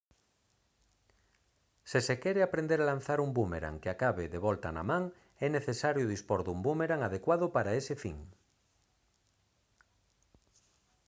se se quere aprender a lanzar un búmerang que acabe de volta na man é necesario dispor dun búmerang adecuado para ese fin